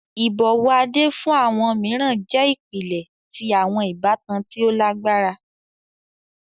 Ibọwọ Ade fun awọn miiran jẹ ipilẹ ti awọn ibatan ti o lagbara.